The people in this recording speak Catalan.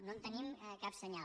no en tenim cap senyal